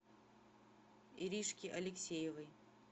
иришки алексеевой